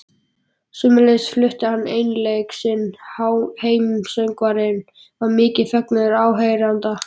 Sömuleiðis flutti hann einleik sinn, Heimssöngvarann, við mikinn fögnuð áheyrenda.